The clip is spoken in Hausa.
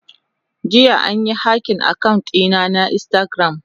Jiya an yi hacking account dina na instagram.